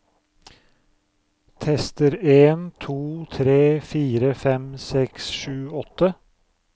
Tester en to tre fire fem seks sju åtte